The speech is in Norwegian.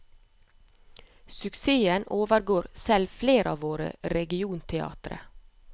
Suksessen overgår selv flere av våre regionteatre.